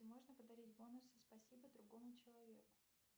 можно подарить бонусы спасибо другому человеку